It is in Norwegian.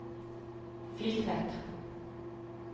Filtvet